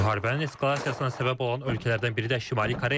Müharibənin eskalasiyasına səbəb olan ölkələrdən biri də Şimali Koreyadır.